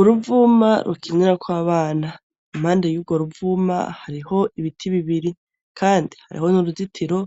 Uruvuma rukinyara kw'abana impande y'uro ruvuma hariho ibiti bibiri, kandi hariho n'uruzitiro